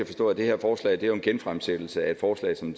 forstå at det her forslag jo er en genfremsættelse af et forslag som